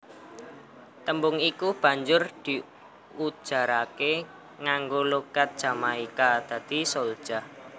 Tembung iku banjur diujaraké nganggo logat Jamaika dadiné souljah